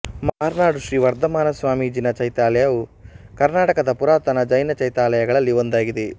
ಮಾರ್ನಾಡು ಶ್ರೀ ವರ್ಧಮಾನಸ್ವಾಮಿ ಜಿನ ಚೈತ್ಯಾಲಯವು ಕರ್ನಾಟಕದ ಪುರಾತನ ಜೈನ ಚೈತ್ಯಾಲಯಗಳಲ್ಲಿ ಒಂದಾಗಿದೆ